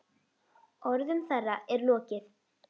Orðum þeirra er lokið.